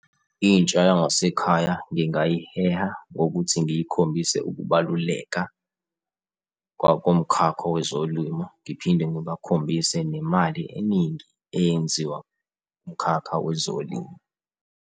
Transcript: Intsha yangasekhaya ngingayiheha ngokuthi ngiyikhombise ukubaluleka komkhakha wezolimo, ngiphinde ngibakhombise nemali eningi eyenziwa kumkhakha wezolimo.